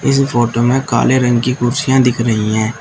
इस फोटो में काले रंग की कुर्सियां दिख रही हैं।